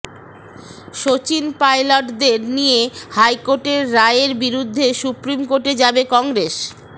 শচীন পাইলটদের নিয়ে হাইকোর্টের রায়ের বিরুদ্ধে সুপ্রিম কোর্টে যাবে কংগ্রেস